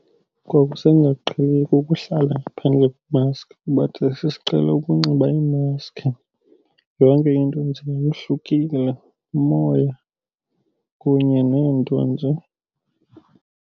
Ngoku sendingaqheli ukuhlala ngaphandle kwemaskhi kuba thina sesiqhele ukunxiba iimaskhi. Yonke into eyenziwayo yohlukile, umoya kunye neento nje.